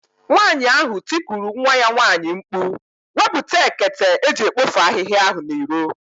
Nwaanyị ahụ tikuru nwa ya nwaanyị mkpụ̀, "Wepụta ekete eji ekpofu ahihia ahụ n'iro!"